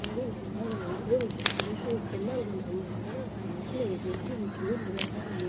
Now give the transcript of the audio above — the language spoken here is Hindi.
यहां भी नजर आ रही है और उसी के नीचे एक पंडाल बना हुआ नजर आ रहा जिसमें एक मूर्ति बैठी हुई नजर आ रही।